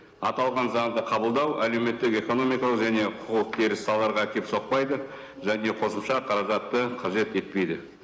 аталған заңды қабылдау әлеуметтік экономикалық және құқық теріс салаларға әкеліп соқпайды және қосымша қаражатты қажет етпейді